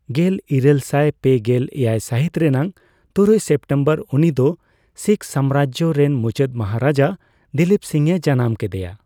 ᱜᱮᱞᱤᱨᱟᱹᱞ ᱥᱟᱭ ᱯᱮᱜᱮᱞ ᱮᱭᱟᱭ ᱥᱟᱹᱦᱤᱛ ᱨᱮᱱᱟᱜ ᱛᱩᱨᱩᱭ ᱥᱮᱯᱴᱮᱢᱵᱚᱨ ᱩᱱᱤ ᱫᱚ ᱥᱤᱠᱷ ᱥᱟᱢᱨᱟᱡᱽ ᱨᱮᱱ ᱢᱩᱪᱟᱹᱫ ᱢᱟᱦᱟᱨᱟᱡᱟ ᱫᱤᱞᱤᱯ ᱥᱤᱝᱼᱮ ᱡᱟᱱᱟᱢ ᱠᱮᱫᱮᱭᱟ ᱾